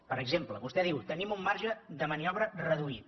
per exemple vostè diu tenim un marge de maniobra reduït